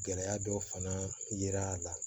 Gɛlɛya dɔ fana yera a la